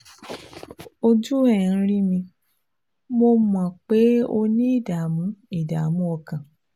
Ojú ẹ̀ ń rí mi, mo mọ̀ pé o ní ìdààmú ìdààmú ọkàn